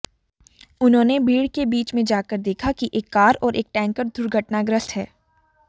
उन्होंने भीड़ के बीच मे जाकर देखा कि एक कार और एक टैंकर दुर्घटनाग्रस्त है